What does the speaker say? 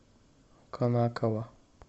конаково